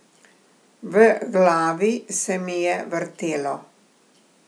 V glavi se mi je vrtelo.